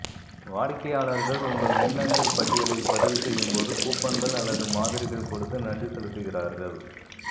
வாடிக்கையாளர்கள் உங்கள் மின்னஞ்சல் பட்டியலில் பதிவு செய்யும் போது கூப்பன்கள் அல்லது மாதிரிகள் கொடுத்து நன்றி செலுத்துகிறார்கள்